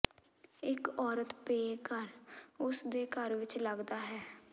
ਇੱਕ ਔਰਤ ਬੇਘਰ ਉਸ ਦੇ ਘਰ ਵਿਚ ਲੱਗਦਾ ਹੈ